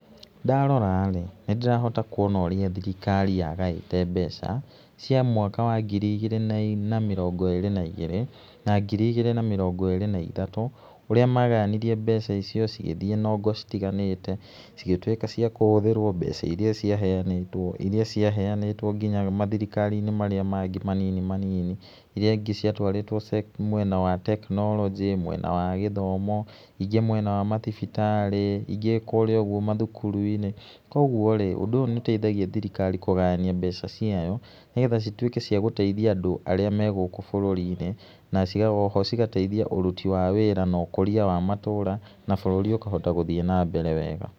Ndarora rĩ, nĩ ndĩrohota kuona ũrĩa thirikari yagaĩte mbeca cia mwaka wa ngiri igĩrĩ na mĩrongo ĩrĩ na igĩrĩ na ngiri ĩgĩrĩ na mĩrongo ĩrĩ na ithatũ, ũrĩa magayanirie mbeca icio cigĩthĩe nongo citiganĩte cigĩtũĩka cia kũhũthĩrwo mbeca iria ciaheanĩtwo, iria ciaheanĩtwo nginya mathirikari-inĩ marĩa mangĩ manini manini, iria ingĩ ciatwarĩtwo mwena wa tekinoronjĩ ,mwena wa gĩthomo, ingĩ mwena wa mathibitarĩ, ingĩ kũrĩa ũguo mathukuru-inĩ. koguo rĩ, ũndũ ũyũ nĩ ũteithagia thirikari kũgayania mbeca ciayo nĩgetha cituĩke cia gũteithia andũ arĩa me gũkũ bũrũri-inĩ na oho cigateithia ũruti wa wĩra na ũkũria wa matũra na bũruri ũkahota gũthĩĩ na mbere wega.